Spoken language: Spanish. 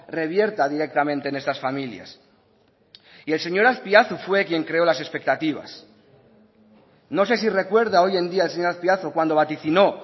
revierta directamente en estas familias y el señor azpiazu fue quien creó las expectativas no sé si recuerda hoy en día el señor azpiazu cuando vaticinó